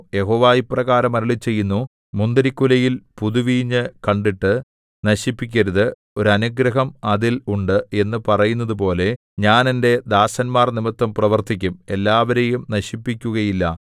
യഹോവ ഇപ്രകാരം അരുളിച്ചെയ്യുന്നു മുന്തിരിക്കുലയിൽ പുതുവീഞ്ഞ് കണ്ടിട്ട് നശിപ്പിക്കരുത് ഒരനുഗ്രഹം അതിൽ ഉണ്ട് എന്നു പറയുന്നതുപോലെ ഞാൻ എന്റെ ദാസന്മാർനിമിത്തം പ്രവർത്തിക്കും എല്ലാവരെയും നശിപ്പിക്കുകയില്ല